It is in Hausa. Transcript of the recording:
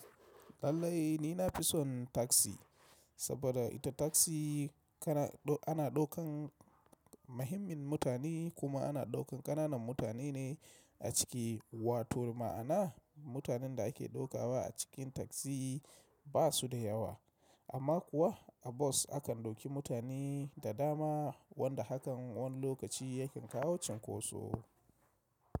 Lallai ni na fi son taksi saboda ita taksi kana ana ɗaukan muhimmin mutane kuma ana ɗaukan ƙananan mutane ne a ciki, wato ma'ana mutanen da ake ɗaukawa a cikin taksi ba su da yawa. Amma kuwa a bus akan dauki mutane da dama wanda hakan wani lokaci yake kawo cinkoso.